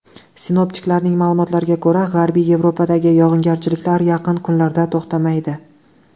Sinoptiklarning ma’lumotlariga ko‘ra, G‘arbiy Yevropadagi yog‘ingarchiliklar yaqin kunlarda to‘xtamaydi.